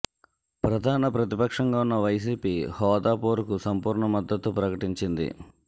ప్రధాన ప్రతిపక్షంగా ఉన్న వైసీపీ హోదా పోరుకు సంపూర్ణ మద్దతు ప్రకటించింది